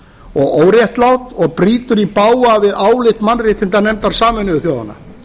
og óréttlátt og brýtur í bága við álit mannréttindanefndar sameinuðu þjóðanna